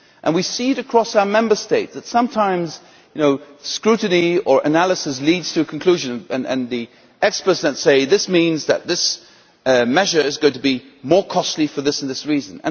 We see across our Member States that sometimes scrutiny or analysis leads to a conclusion, and the experts then say this means that this measure is going to be more costly for this or that reason.